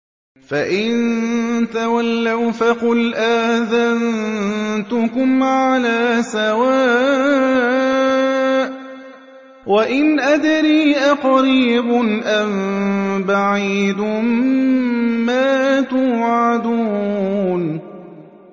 فَإِن تَوَلَّوْا فَقُلْ آذَنتُكُمْ عَلَىٰ سَوَاءٍ ۖ وَإِنْ أَدْرِي أَقَرِيبٌ أَم بَعِيدٌ مَّا تُوعَدُونَ